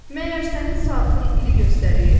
Məyər sənin saatın ili göstərir?